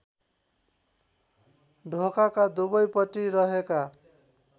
ढोकाका दुवैपट्टि रहेका